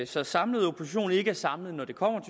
så samlede opposition ikke er samlet når det kommer